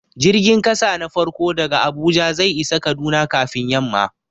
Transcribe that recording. Jirgin ƙasa na farko daga Abuja zai isa Kaduna kafin yamma.